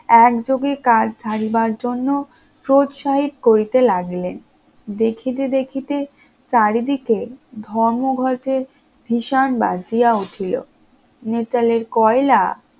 একযোগে কাজ ছাড়িবার জন্য প্রউৎসাহিত করতে লাগিলেন, দেখিতে দেখিতে চারিদিকে ধর্মঘটের ভিষান বাজিয়া উঠিল, নিটলের কয়লা